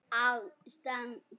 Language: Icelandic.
Hún gat það ekki.